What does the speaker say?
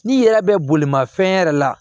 N'i yɛrɛ bɛ bolimafɛn yɛrɛ la